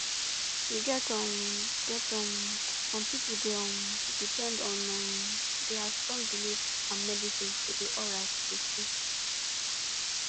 you get um get um some people dey um depend on um their strong belief and medicine to dey alright truetrue